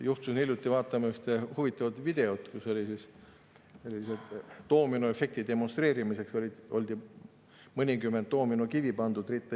Juhtusin hiljuti vaatama ühte huvitavat videot, kus oli doominoefekti demonstreerimiseks ritta pandud mõnikümmend doominokivi.